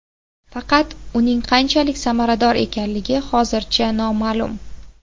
Faqat uning qanchalik samarador ekanligi hozircha noma’lum.